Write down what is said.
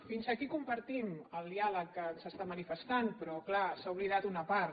fins aquí compartim el di·àleg que ens està manifestant però clar s’ha oblidat d’una part